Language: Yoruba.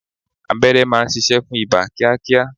Abẹ́rẹ́ má ń ṣiṣẹ́ fún ibà kíá kíá.